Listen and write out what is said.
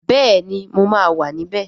Bẹẹni mo máa wà níbẹ̀